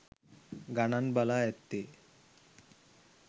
ගණන් බලා ඇත්තේ.